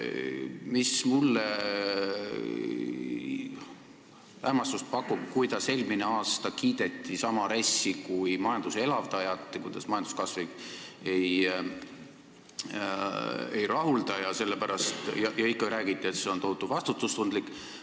Mind hämmastab see, kuidas eelmine aasta kiideti sedasama RES-i kui majanduse elavdajat, räägiti, et majanduskasv ei rahulda, ja ikka räägiti, et see on tohutult vastutustundlik.